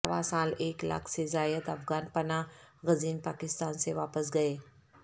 رواں سال ایک لاکھ سے زائد افغان پناہ گزین پاکستان سے واپس گئے